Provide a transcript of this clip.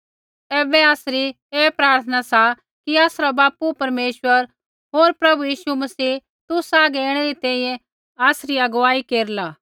ऐबै आसरी ऐ प्रार्थना सा कि आसरा बापू परमेश्वर होर प्रभु यीशु मसीह तुसा हागै ऐणै री तैंईंयैं आसरी अगुवाई केरला